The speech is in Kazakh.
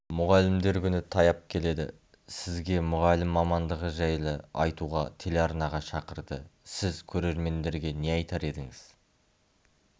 мұғалімдер күні таяп келеді сізге мұғалім мамандығы жайлы айтуға телеарнаға шақырды сіз көрермендерге не айтар едіңіз